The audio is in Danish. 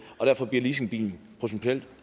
og derfor bliver leasingbilen potentielt